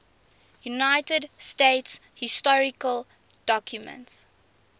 united states historical documents